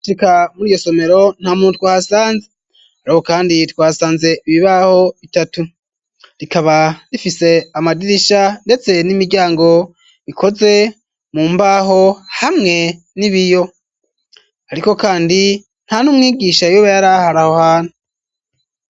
Rika muri ryo somero nta mutwa ahasanze ari ko, kandi twasanze ibibaho bitatu rikaba rifise amadirisha, ndetse n'imiryango bikoze mu mbaho hamwe nibiyo, ariko, kandi nta n' umwigisha iweba yar aharaho hana.